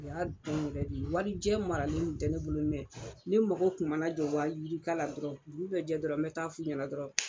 U y'a dɔn yɛrɛ de, warijɛ maralen kun tɛ ne bolo mɛ ne mako kun mana jɔ wayirika la dɔrɔn, dugu bɛ jɛ dɔrɔn me taa f'u ɲɛna dɔrɔn